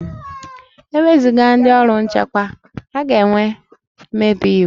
E wezuga ndị ọrụ nchekwa, a ga-enwe mmebi iwu